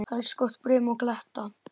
Helst gott brim og kletta.